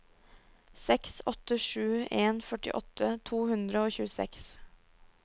seks åtte sju en førtiåtte to hundre og tjueseks